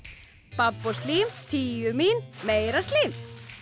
babb og slím tíu mín meira slím